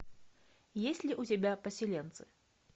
есть ли у тебя поселенцы